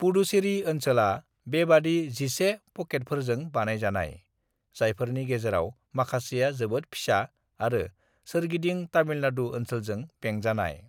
"पुडुचेरी ओनसोला बेबादि 11 पकेटफोरजों बानायजानाय , जायफोरनि गेजेराव माखासेआ जोबोद फिसा आरो सोरगिदिं तमिलनाडु ओनसोलजों बेंजानाय।"